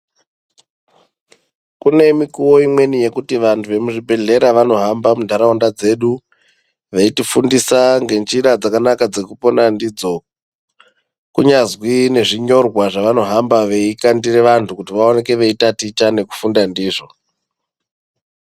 Kune mikuwo imweni yekuti vanhu vemuzvibhehleya vanohamba munharaunda dzedu veitifundisa ngenjira dzakanaka dzekupona dzidzo kunyazwi nezvinyorwa zvavanohamba veikandira vanhu kuti vaoneke veitaticha nekufunda ndizvo.